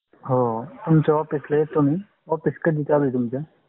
हो तुमच्‍या office येतो. कधि चालु आहे ते?